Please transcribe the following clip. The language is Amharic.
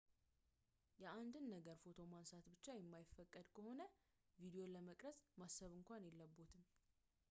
የአንድን ነገር ፎቶ ማንሳት ብቻ የማይፈቀድ ከሆነ ቪዲዮ ለመቅረጽ ማሰብ እንኳን የለብዎትም